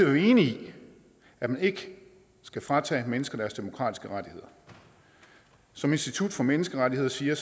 er vi enige i at man ikke skal fratage mennesker deres demokratiske rettigheder som institut for menneskerettigheder siger